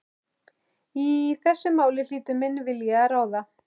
Í þessu máli hlýtur minn vilji að ráða.